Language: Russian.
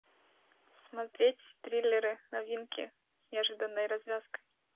смотреть триллеры новинки с неожиданной развязкой